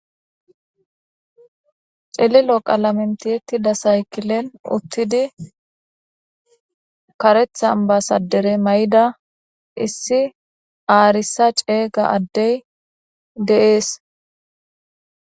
celilo qalamentiyettida saykilen uttidi karethan basadere may7ida issi aarissa ceeyga addey deees